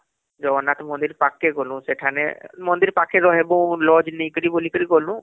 ଜଗନ୍ନାଥ ମନ୍ଦିର ପାଖକେ ଗ୍ନୁ ସେଠାନେ ମନ୍ଦିର ପାଖେ ରହିବୁlodge ନେଇ କରି ବୋଲିକରି ଗଲୁ